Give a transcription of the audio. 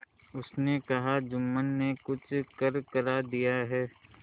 उसने कहाजुम्मन ने कुछ करकरा दिया है